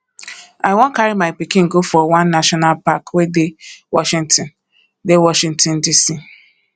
i wan carry my pikin go for one national park wey dey washington dey washington dc